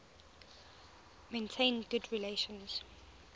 maintained good relations